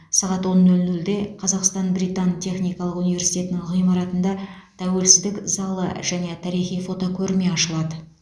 сағат он нөл нөлде қазақстан британ техникалық университетінің ғимаратында тәуелсіздік залы және тарихи фотокөрме ашылады